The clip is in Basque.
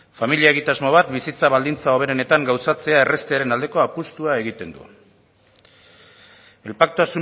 familia egitasmo bat bizitza baldintza hoberenetan gauzatzea erraztearen aldeko apustua egiten du el pacto